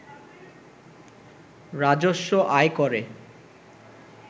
রাজস্ব আয় করে